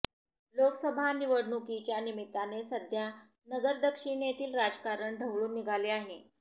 लोकसभा निवडणुकीच्या निमित्ताने सध्या नगर दक्षिणेतील राजकारण ढवळून निघाले आहे